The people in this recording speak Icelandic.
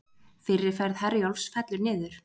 Fyrri ferð Herjólfs fellur niður